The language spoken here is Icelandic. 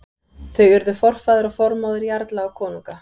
Þau urðu forfaðir og formóðir jarla og konunga.